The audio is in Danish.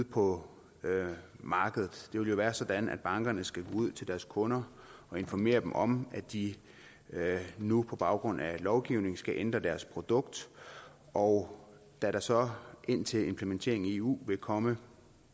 på markedet det vil jo være sådan at bankerne skal gå ud til deres kunder og informere dem om at de nu på baggrund af lovgivningen skal ændre deres produkt og da der så indtil implementeringen i eu vil komme